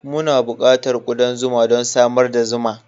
Muna buƙatar kudan zuma don samar da zuma.